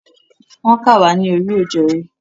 Wọ́n kà wá ní oríòjorí.